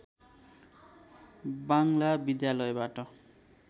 बाङ्ग्ला विद्यालयबाट